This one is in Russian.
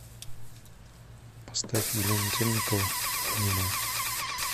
поставь елена темникова обнимаю